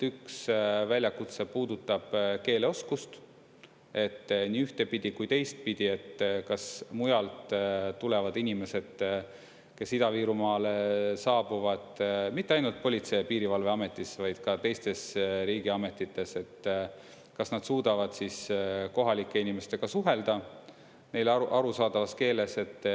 Üks väljakutse puudutab keeleoskust nii üht kui teistpidi, et kas mujalt tulevad inimesed, kes Ida-Virumaale saabuvad, mitte ainult Politsei- ja Piirivalveametis, vaid ka teistes riigiametites, kas nad suudavad kohalike inimestega suhelda neile arusaadavas keeles.